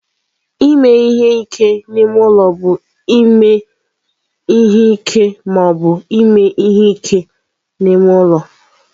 Ime ihe ike n'ime ụlọ bụ ime ihe ike ma ọ bụ ime ihe ike n'ime ụlọ.